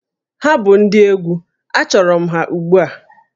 Ha bụ ndị egwu, achọrọ m ha ugbu a!